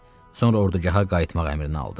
Sonra ordugaha qayıtmaq əmrini aldı.